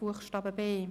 Buchstabe b.